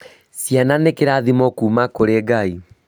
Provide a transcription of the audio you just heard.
Ciana nĩ kĩrathimo kuuma kũrĩ Ngai